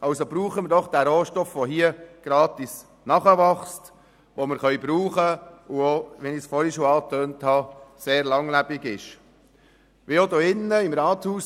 Nutzen wir also diesen Rohstoff, der hier gratis nachwächst, den wir brauchen können und welcher sehr langlebig ist, wie ich schon vorher angetönt habe.